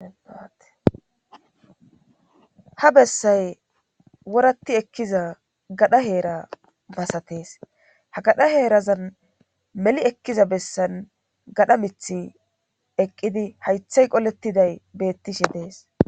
Ha bessay woratti ekkiza gadha heera masatees ha gadha heerazan meli ekkiza bessan gadha mithi eqqidi haythay qolettiday bettishe dees.